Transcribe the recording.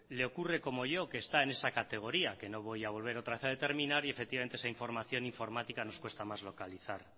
le ocurre como yo que está en esa categoría que no voy a volver otra vez a determinar y efectivamente esa información informática nos cuesta más localizar